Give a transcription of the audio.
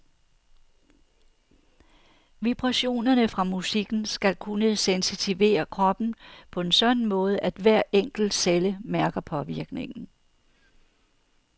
Vibrationerne fra musikken skal kunne sensitivere kroppen på en sådan måde, at hver enkelt celle mærker påvirkningen.